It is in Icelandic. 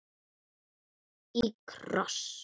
Í kross.